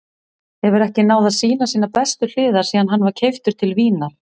Hefur ekki náð að sýna sínar bestu hliðar síðan hann var keyptur til Vínar.